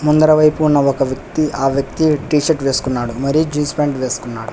ముందరవైపున ఒక వ్యక్తి ఆ వ్యక్తి టీషర్ట్ వేసుకున్నాడు మరీ జీన్స్ పాయింట్ వేసుకున్నాడు.